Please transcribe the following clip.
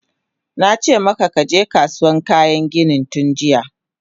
Nace maka kaje Kasuwan kayan ginin tunjiya!